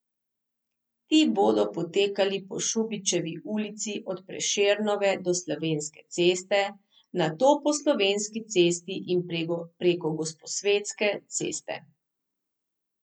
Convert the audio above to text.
Ti bodo potekali po Šubičevi ulici od Prešernove do Slovenske ceste, nato po Slovenski cesti in preko Gosposvetske ceste.